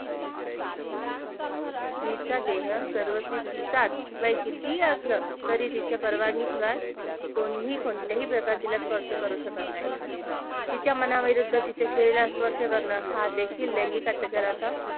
स्त्रीचा देहसीता सर्वस्वी तिचाच वय कितीही असल तरी तिच्या परवानगी शिवाय कोणीही, कोणत्याही प्रकारे तिला स्पर्श करू शकत नाही तिच्या मनाविरुद्ध तिच्या शरीरास स्पर्श करण हा देखील लैंगिक अत्याचाराचा